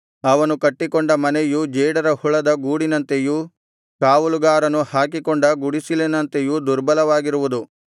ಅವನು ಕಟ್ಟಿಕೊಂಡ ಮನೆಯು ಜೇಡರ ಹುಳದ ಗೂಡಿನಂತೆಯೂ ಕಾವಲುಗಾರನು ಹಾಕಿಕೊಂಡ ಗುಡಿಸಿಲಂತೆಯೂ ದುರ್ಬಲವಾಗಿರುವುದು